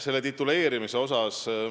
Selle tituleerimise kohta.